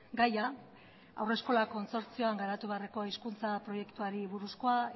gaia haurreskolako kontsortzioan garatu beharrekoa hizkuntza proiektuari buruzkoa